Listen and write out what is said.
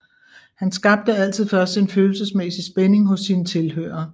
Han skabte altid først en følelsesmæssig spænding hos sine tilhørere